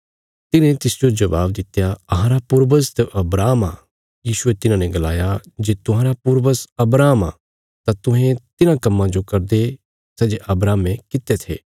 तिन्हे तिसजो जबाब दित्या अहांरा पूर्वज त अब्राहम आ यीशुये तिन्हाने गलाया जे तुहांरा पूर्वज अब्राहम आ तां तुहें तिन्हां कम्मां जो करदे सै जे अब्राहमे कित्ते थे